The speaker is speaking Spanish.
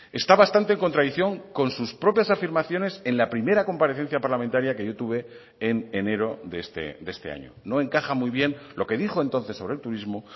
está bastante en contradicción con sus propias afirmaciones en la primera comparecencia parlamentaria que yo tuve en enero de este año no encaja muy bien lo que dijo entonces sobre el turismo